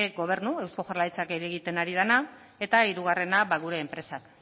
eusko jaurlaritzak egiten ari dena eta hirugarrena gure enpresak